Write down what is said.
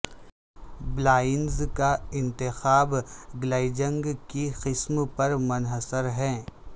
blinds کا انتخاب glazing کی قسم پر منحصر ہے